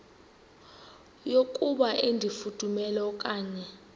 yokuba ifudumele okanye